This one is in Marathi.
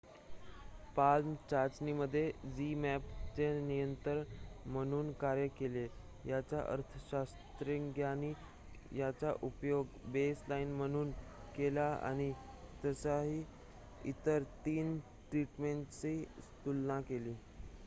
palm चाचणीमध्ये zmapp ने नियंत्रण म्हणून कार्य केले याचा अर्थ शास्त्रज्ञांनी याचा उपयोग बेसलाइन म्हणून केला आणि त्यासह इतर 3 ट्रीटमेंट्सची तुलना केली